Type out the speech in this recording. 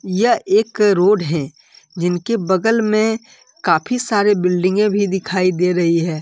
यह एक रोड है जिनकी बगल में काफी सारे बिल्डिंगे भी दिखाई दे रही है ।